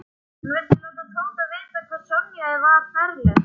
Hann vildi láta Tóta vita hvað Sonja var ferleg.